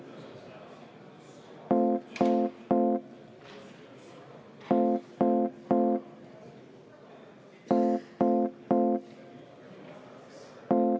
Vaheaeg 10 minutit.